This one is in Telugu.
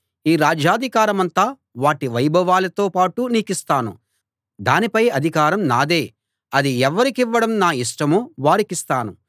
ఈ రాజ్యాధికారమంతా వాటి వైభవాలతో పాటు నీకిస్తాను దానిపై అధికారం నాదే అది ఎవరికివ్వడం నా ఇష్టమో వారికిస్తాను